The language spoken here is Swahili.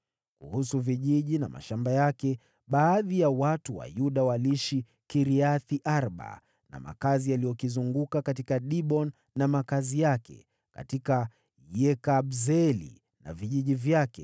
Kuhusu vijiji na mashamba yake, baadhi ya watu wa Yuda waliishi Kiriath-Arba na makazi yaliyokizunguka, katika Diboni na makazi yake, katika Yekabzeeli na vijiji vyake,